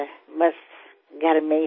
ఏదో ఇంట్లోనే